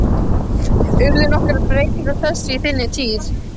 Urðu nokkrar breytingar á þessu á þinni tíð?